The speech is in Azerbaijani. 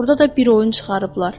Orda da bir oyun çıxarıblar.